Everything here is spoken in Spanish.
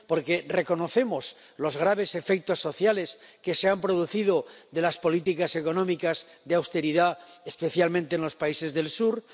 porque reconocemos los graves efectos sociales que han producido las políticas económicas de austeridad, especialmente en los países del sur